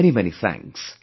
Many many thanks